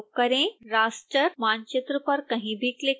raster मानचित्र पर कहीं भी क्लिक करें